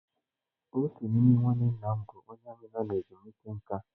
Otu n'ime nwanne nna m bụ onye armiị nọ ezumike nka.